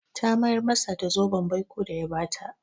Ta mayar masa da zoben baiko da ya ba ta.